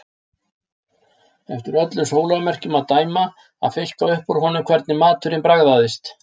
Eftir öllum sólarmerkjum að dæma að fiska upp úr honum hvernig maturinn bragðaðist.